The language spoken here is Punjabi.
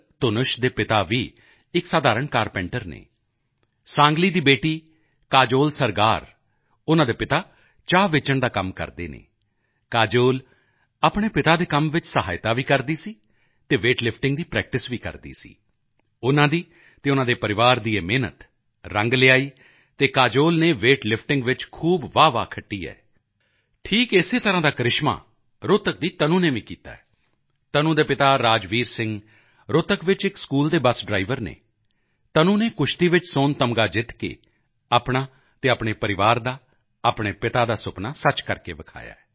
ਧੁਨਸ਼ ਦੇ ਪਿਤਾ ਵੀ ਇੱਕ ਸਾਧਾਰਣ ਕਾਰਪੇਂਟਰ ਹਨ ਸਾਂਗਲੀ ਦੀ ਬੇਟੀ ਕਾਜੋਲ ਸਰਗਾਰ ਉਨ੍ਹਾਂ ਦੇ ਪਿਤਾ ਚਾਹ ਵੇਚਣ ਦਾ ਕੰਮ ਕਰਦੇ ਹਨ ਕਾਜੋਲ ਆਪਣੇ ਪਿਤਾ ਦੇ ਕੰਮ ਵਿੱਚ ਸਹਾਇਤਾ ਵੀ ਕਰਦੀ ਸੀ ਅਤੇ ਵੇਟ ਲਿਫਟਿੰਗ ਦੀ ਪ੍ਰੈਕਟਿਸ ਵੀ ਕਰਦੀ ਸੀ ਉਨ੍ਹਾਂ ਦੀ ਅਤੇ ਉਨ੍ਹਾਂ ਦੇ ਪਰਿਵਾਰ ਦੀ ਇਹ ਮਿਹਨਤ ਰੰਗ ਲਿਆਈ ਅਤੇ ਕਾਜੋਲ ਨੇ ਵੇਟ ਲਿਫਟਿੰਗ ਵਿੱਚ ਖੂਬ ਵਾਹਵਾਹੀ ਖੱਟੀ ਹੈ ਠੀਕ ਇਸੇ ਤਰ੍ਹਾਂ ਦਾ ਕ੍ਰਿਸ਼ਮਾ ਰੋਹਤਕ ਦੀ ਤਨੂ ਨੇ ਵੀ ਕੀਤਾ ਹੈ ਤਨੂ ਦੇ ਪਿਤਾ ਰਾਜਵੀਰ ਸਿੰਘ ਰੋਹਤਕ ਵਿੱਚ ਇੱਕ ਸਕੂਲ ਦੇ ਬੱਸ ਡਰਾਈਵਰ ਹਨ ਤਨੂ ਨੇ ਕੁਸ਼ਤੀ ਵਿੱਚ ਸੋਨ ਤਗਮਾ ਜਿੱਤ ਕੇ ਆਪਣਾ ਅਤੇ ਪਰਿਵਾਰ ਦਾ ਆਪਣੇ ਪਿਤਾ ਦਾ ਸੁਪਨਾ ਸੱਚ ਕਰਕੇ ਵਿਖਾਇਆ ਹੈ